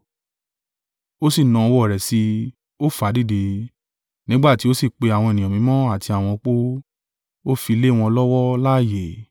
Ó sì na ọwọ́ rẹ̀ sí i, ó fà á dìde; nígbà tí ó sì pe àwọn ènìyàn mímọ́ àti àwọn opó, ó fi lé wọn lọ́wọ́ láààyè.